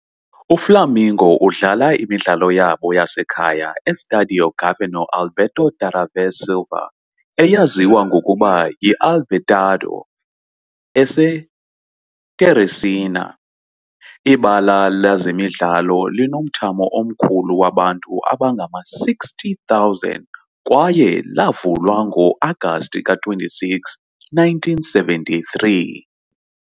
UFlamengo udlala imidlalo yabo yasekhaya e-Estádio Governador Alberto Tavares Silva, eyaziwa ngokuba yi -Albertão, eseTeresina. Ibala lezemidlalo linomthamo omkhulu wabantu abangama-60,000 kwaye lavulwa ngo-Agasti ka-26, 1973.